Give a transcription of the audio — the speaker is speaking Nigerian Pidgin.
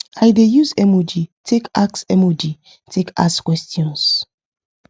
i dey use emoji take ask emoji take ask questions